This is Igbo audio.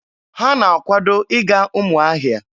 Ha na-akwado ịga Ụmụahịa.